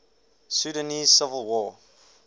sudanese civil war